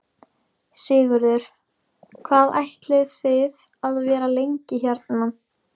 Sigurður: Hvað ætlið þið að vera lengi hérna?